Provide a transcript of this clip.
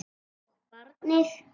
Og barnið.